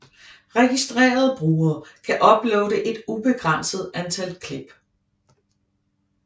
Registrerede brugere kan uploade et ubegrænset antal klip